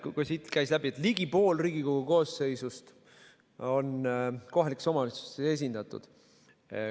Siit käis läbi, et ligi pool Riigikogu koosseisust on kohalikes omavalitsustes esindatud.